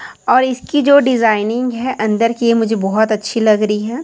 और इसकी जो डिजाइनिंग है अंदर कि ये मुझे बहोत अच्छी लग रही है।